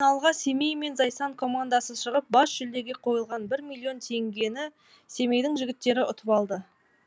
финалға семей мен зайсан командасы шығып бас жүлдеге қойылған бір миллион теңгені семейдің жігіттері ұтып алды